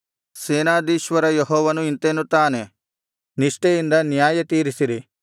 ಸೇನಾಧೀಶ್ವರ ಯೆಹೋವನು ಇಂತೆನ್ನುತ್ತಾನೆ ನಿಷ್ಠೆಯಿಂದ ನ್ಯಾಯತೀರಿಸಿರಿ